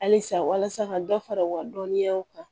Halisa walasa ka dɔ fara u ka dɔnniyaw kan